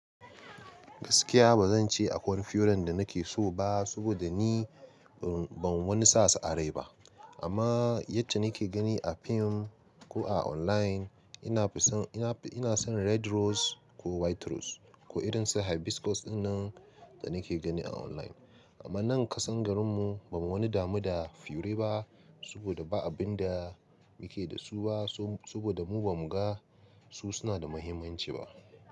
Gaskiya ba zan ce akwai furen da nake so ba, saboda ni ban wani sasu a rai ba. Amma yacce nake gani a fim ko a online ina fi son, ina, ina son red rose ko white rose ko irin su hibiscus dinnan da nake gani a online. Amma nan kasan garinmu ba wani damu da fure ba, saboda ba abin da muke da su ba saboda mu ba mu ga su suna da muhimmanci ba.